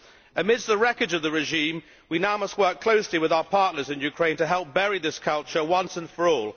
Amidst the wreckage of the regime we now must work closely with our partners in Ukraine to help bury this culture once and for all